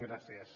gràcies